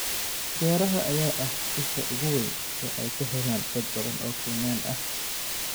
Beeraha ayaa ah isha ugu weyn ee ay ka helaan dad badan oo Kenyan ah.